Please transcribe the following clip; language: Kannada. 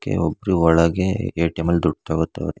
ಕೆ- ಒಬ್ರು ಒಳಗೆ ಏ_ಟಿ_ಎಂ ಅಲ್ ದುಡ್ ತಗೋತಾವ್ರೆ.